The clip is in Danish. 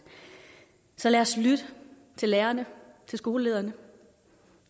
så lad os lytte til lærerne til skolelederne